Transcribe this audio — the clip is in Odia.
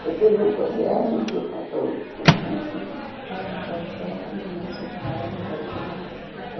କେତେ ଲୋକ ଠିଆ ହେଇକି ଫଟୋ ଉଠଉଛନ୍ତି ଆଉ ଗଛମାନେ ସେ ପାହାଡରେ ଗଛମାନେ କେତେ ତ --